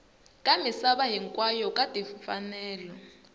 ka misava hinkwayo ka timfanelo